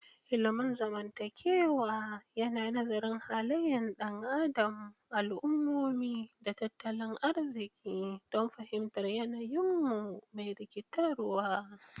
Ilimin zamantakewa yana nazarin halayen ɗan adam, al'ummomi, da tattalin arziki don fahimtar yanayin mu mai rikitarwa.